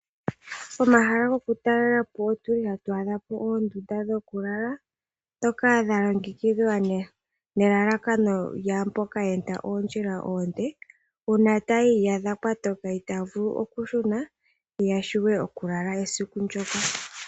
Pomahala gokutalela po otu li hatu adha po oonduda dhokulala, ndhoka dha longekidhwa nelalakano lyaamboka ya enda oondjila oonde, uuna taya iyadha kwa toka itaya vulu okushuna, ya vule okulala esiku ndyoka.